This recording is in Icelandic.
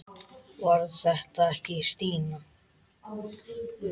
Var þetta ekki Stína?